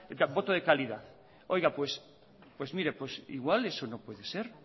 voto de calidad oiga puede mire pues igual eso no puede ser